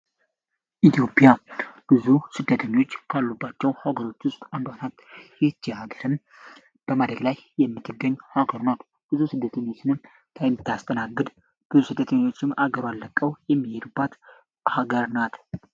የኢትዮጵያ ስደተኞች በጣም ከሚበዛባት አንዱ ሀገር ናት ሀገርን ብዙ ስደኞችን የምታስተናግድ ሀገሩ አለቀው የሚሄዱበት ሀገር ናት።